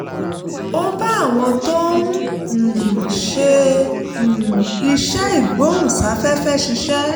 ó bá àwọn tó ń um ṣe um iṣẹ́ ìgbóhùnsáfẹ́fẹ́ ṣiṣẹ́